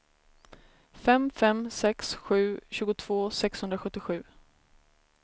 fem fem sex sju tjugotvå sexhundrasjuttiosju